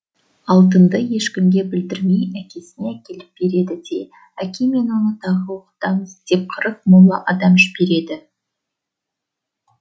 алтынды ешкімге білдірмей әкесіне әкеліп береді де әке мен оны тағы оқытамыз деп қырық молла адам жібереді